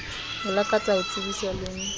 o lakatsa ho tsebiswa le